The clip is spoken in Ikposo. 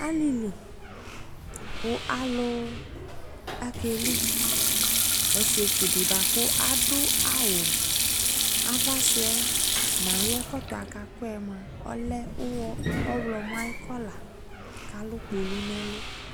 Alili ko alu ake liƆsiɛtsu de boako ado awu avasuɛ no aye ɛkɔtɔɛ akɔɛ moa ɔlɛ uwɔ, ɔwlɔmɔ aye kɔla ko alu kpulu no ɛlu